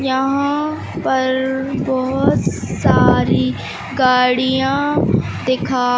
यहां पर बहोत सारी गाड़ियां दिखा--